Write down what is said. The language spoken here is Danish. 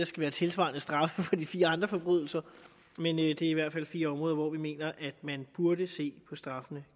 skal være tilsvarende straffe for de fire andre forbrydelser men det er i hvert fald fire områder hvor vi mener at man burde se på straffen